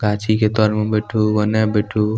गाछी के तोर में बैठु ओनो बैठु।